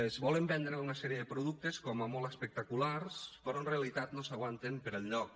es volen vendre una sèrie de productes com a molt espectaculars però en realitat no s’aguanten per enlloc